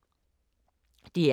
DR K